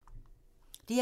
DR2